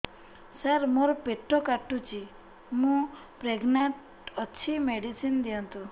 ସାର ମୋର ପେଟ କାଟୁଚି ମୁ ପ୍ରେଗନାଂଟ ଅଛି ମେଡିସିନ ଦିଅନ୍ତୁ